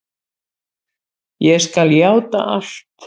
Ég skal játa allt.